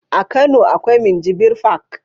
A kano akwai minjibir fak